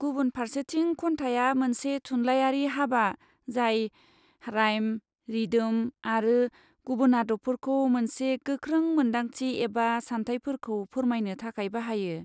गुबुन फारसेथिं, खन्थाइया मोनसे थुनलाइयारि हाबा जाय राइम, रिदोम आरो गुबुन आदबफोरखौ मोनसे गोख्रों मोनदांथि एबा सानथायफोरखौ फोरमायनो थाखाय बाहायो।